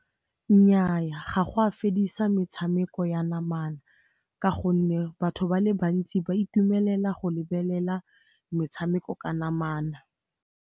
Nnyaa, ga go a fedisa metshameko ya namana ka gonne batho ba le bantsi ba itumelela go lebelela metshameko ka namana.